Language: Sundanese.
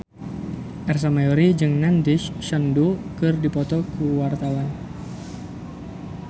Ersa Mayori jeung Nandish Sandhu keur dipoto ku wartawan